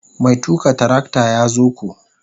Mai tuka trakta ya zo ko.